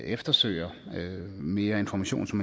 eftersøger mere information som